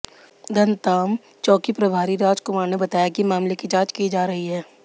धमतान चौकी प्रभारी रामकुमार ने बताया कि मामले की जांच की जा रही है